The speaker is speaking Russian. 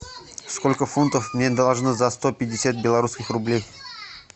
сколько фунтов мне должны за сто пятьдесят белорусских рублей